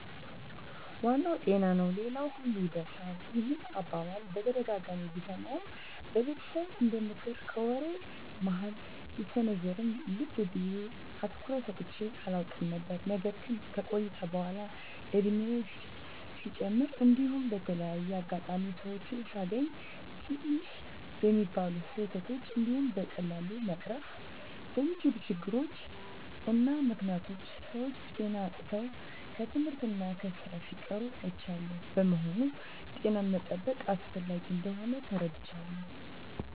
" ዋናው ጤና ነው ሌላው ሁሉ ይርሳል። " ይህን አባባል በተደጋጋሚ ብሰማውም በቤተሰብ እንደምክር ከወሬ መሀል ቢሰነዘርም ልብ ብየ አትኩሮት ሰጥቸው አላውቅም ነበር። ነገር ግን ከቆይታ በኃላ እድሜየም ሲጨምር እንዲሁም በተለያየ አጋጣሚ ሰወችን ሳገኝ ትንሽ በሚባሉ ስህተቶች እንዲሁም በቀላሉ መቀረፍ በሚችሉ ችግሮች እና ምክኒያቶች ሰወች ጤና አጥተው ከትምህርት እና ከስራ ሲቀሩ አይቻለሁ። በመሆኑም ጤናን መጠበቅ አስፈላጊ እንደሆን ተረድቻለሁ።